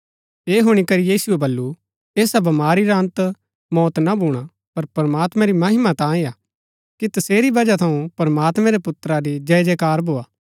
ऐह हुणी करी यीशुऐ बल्लू ऐसा बमारी रा अन्त मौत ना भूणा पर प्रमात्मैं री महिमा तांयें हा कि तसेरी बजह थऊँ प्रमात्मैं रै पुत्रा री जय जयकार भोआ